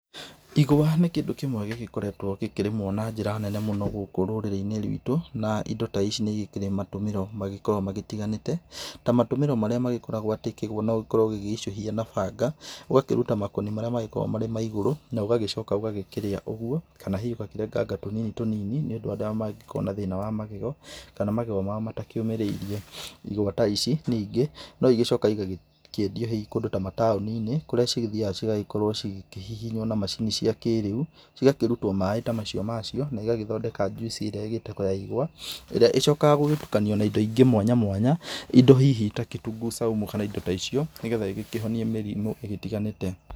Ĩgwa nĩ kĩndũ kĩmwe gĩgĩkoretwo gĩkĩrĩmwo na njĩra nene mũno gũkũ rũrĩrĩ-inĩ rwitũ, na ĩndo ta ici nĩ ĩkĩrĩ matũmĩro magĩkoragwo magĩtiganĩte, ta matũmĩro marĩa magĩkoragwo atĩ kĩgwa no ũkorwo ũgĩgĩicũhia na banga ũgakĩruta makoni marĩa magĩkoragwo me ma igũrũ na ũgagĩcoka ũgagĩkĩrĩa ũguo, kana hihi ũgakĩrenganga tũnini tũnini nĩ wa andũ arĩa mangĩgĩkorwo na thĩna wa magego kana magego mao matakĩũmĩrĩirie. Ĩgwa ta ici ningĩ no ĩgĩcokaga ĩgakĩendio hihi kũndũ ta mataũni-inĩ kũrĩa cigĩthiyaga ĩgacĩkorwo cigĩkĩhihinywo na macini cia kĩrĩa, cigakĩrutwo maĩ ta macio na ĩgagĩthondeka njuici ĩria ĩgĩtagwo ya ĩgwa ĩria ĩcokaga gũgĩtukanio na ĩndo ĩngĩ mwanya mwanya, ĩndo hihi ta kitunguu saumu kana ĩndo ta icio, nĩgetha ĩgĩkĩhonie mĩrimũ ĩgĩtiganĩte.